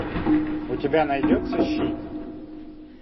у тебя найдется щит